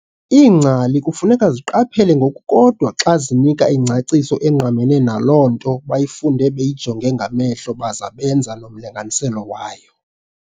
Iingcali kufuneka ziqaphele ngokukodwa xa zinika ingcaciso engqamene naloo nto bayifunde beyijonge ngamehlo baza benza nomlinganiselo wayo.